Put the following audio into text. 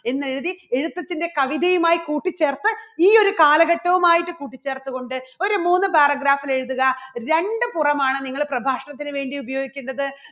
എന്നെഴുതി എഴുത്തച്ഛൻറെ കവിതയുമായി കൂട്ടിച്ചേർത്ത് ഈയൊരു കാലഘട്ടവുമായിട്ട് കൂട്ടിച്ചേർത്തുകൊണ്ട് ഒരു മൂന്ന് paragraph ൽ എഴുതുക. രണ്ട് പുറമാണ് നിങ്ങള് പ്രഭാഷണത്തിന് വേണ്ടി ഉപയോഗിക്കണ്ടത്.